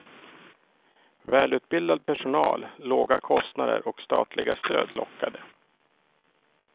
Välutbildad personal, låga kostnader och statliga stöd lockade.